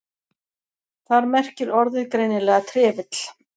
Þar merkir orðið greinilega trefill.